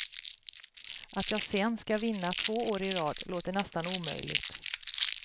Att jag sen skall vinna två år i rad låter nästan omöjligt.